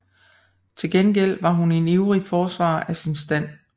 Til gengæld var hun en ivrig forsvarer af sin stand